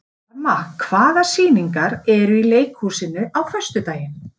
Karma, hvaða sýningar eru í leikhúsinu á föstudaginn?